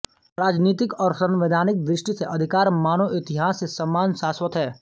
राजनीतिक और संवैधानिक दृष्टि से अधिकार मानव इतिहास से समान शाश्वत है